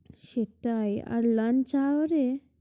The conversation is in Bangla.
সেটাই আর lanch hour এ